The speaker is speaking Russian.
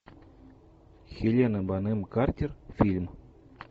хелена бонем картер фильм